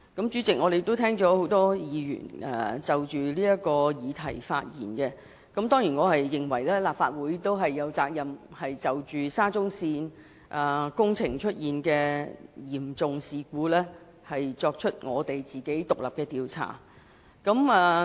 主席，很多議員已就這議題發言，而我當然也認為立法會有責任就沙中線工程的嚴重事故展開獨立調查。